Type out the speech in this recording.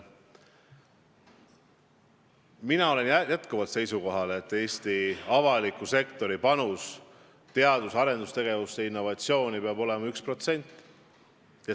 Mina olen endiselt seisukohal, et Eesti avaliku sektori panus teadus-arendustegevusse ja innovatsiooni peab olema 1% SKT-st.